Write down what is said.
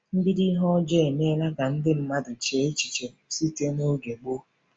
MBIDO ihe ọjọọ emeela ka ndị mmadụ chee echiche site n’oge gboo.